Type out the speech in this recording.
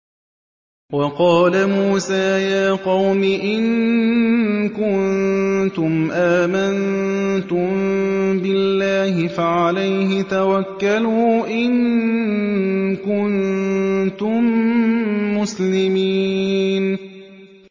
وَقَالَ مُوسَىٰ يَا قَوْمِ إِن كُنتُمْ آمَنتُم بِاللَّهِ فَعَلَيْهِ تَوَكَّلُوا إِن كُنتُم مُّسْلِمِينَ